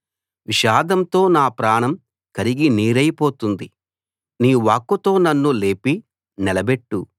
విషాదంతో నా ప్రాణం కరిగి నీరైపోతోంది నీ వాక్కుతో నన్ను లేపి నిలబెట్టు